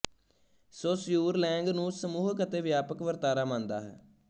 Saussure ਲੈਂਗ ਨੂੰ ਸਮੂਹਿਕ ਅਤੇ ਵਿਆਪਕ ਵਰਤਾਰਾ ਮੰਨਦਾ ਹੈ